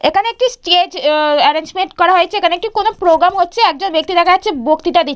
এখানে একটি stage uh arrangement করা হয়েছে। এখানে একটি কোনো প্রোগ্রাম হচ্ছে। একজন ব্যক্তি দেখা যাচ্ছে বক্তৃতা দি--